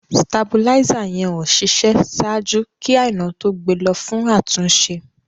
Stàbúlísa yẹn ó ṣiṣẹ sáàjú kí Àinà tó gbẹ̀ lọ fún àtúnṣe.